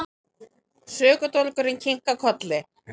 Sökudólgurinn kinkar kolli.